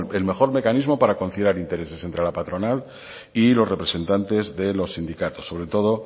el mejor mecanismo para conciliar intereses entre la patronal y los representantes de los sindicatos sobre todo